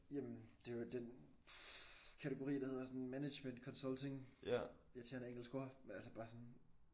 Jamen det jo den kategori der hedder sådan management consulting. Irriterende engelsk ord men altså bare sådan